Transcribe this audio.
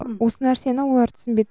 осы нәрсені олар түсінбеді